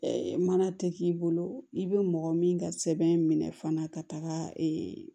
mana tɛ k'i bolo i bɛ mɔgɔ min ka sɛbɛn minɛ fana ka taga